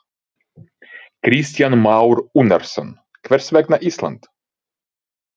Kristján Már Unnarsson: Hvers vegna Ísland?